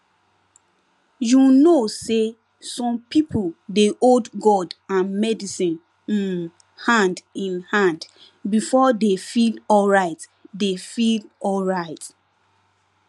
you know say some people dey hold god and medicine um hand in hand before dey feel alright dey feel alright